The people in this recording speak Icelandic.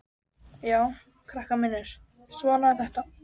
Já, krakkar mínir, svona er þetta.